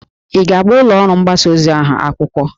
Ị ga-agba ụlọ ọrụ mgbasa ozi ahụ akwụkwọ?